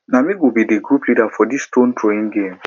na me go be di group leader for dis stone throwing game